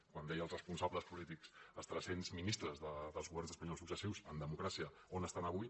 quan deia els responsables polítics els tres cents ministres dels governs espanyols successius en democràcia on estan avui